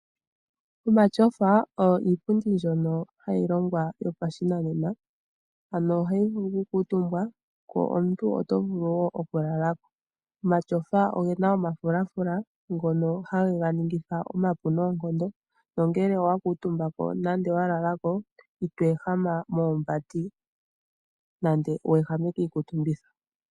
Omashofa oyo iipundi mbyoka hayi longwa yopa shinanena ano ohayi vulu oku kuutumba nenge oku lala ko. Omatyofa ogena iifula fula hono hageya ningi tha omapu noonkondo made owa kuutumba koito ehama meembati nenge kii kuutumbitho.